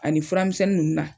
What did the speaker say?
Ani furamisɛnni nunnu na.